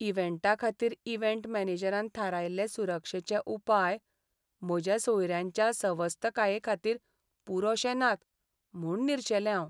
इव्हेंटाखातीर event मॅनेजरान थारायल्ले सुरक्षेचे उपाय म्हज्या सोयऱ्यांच्या सवस्तकायेखातीर पुरोशे नात म्हूण निरशेलें हांव.